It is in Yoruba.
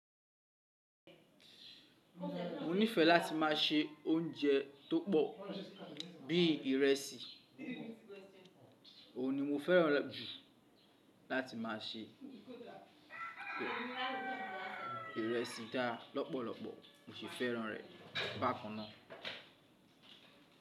Mo nífẹ láti má ṣe oúnjẹ tó pọ̀ bí ìrẹsì, òhun ni mo fẹ́ràn jù láti má se. Ìrẹsì dá lọ́pọ̀lọpọ̀, mo sì fẹ́ràn rẹ̀ bákan ná.